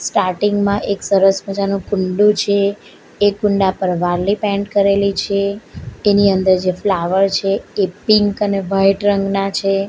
Starting માં એક સરસ મજાનું કુંડુ છે એ કુંડા પર વાલી પેન્ટ કરેલી છે એની અંદર જે ફ્લાવર છે એ પિન્ક અને વાઈટ રંગના છે.